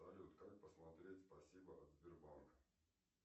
салют как посмотреть спасибо от сбербанка